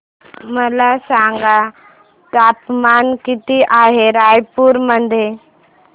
मला सांगा तापमान किती आहे रायपूर मध्ये